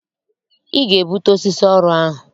Ị ga-ebute osisi ọrụ ahụ!